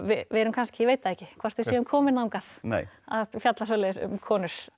við erum kannski ég veit það ekki hvort við séum komin þangað að fjalla svoleiðis um konur